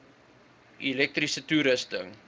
elektriese toerusting